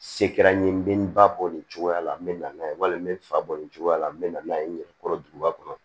Se kɛra n ye n bɛ n ba bɔ nin cogoya la n bɛ na n'a ye walima n bɛ n fa bɔ nin cogoya la n bɛ na n'a ye n yɛrɛ kɔrɔ duguba kɔnɔ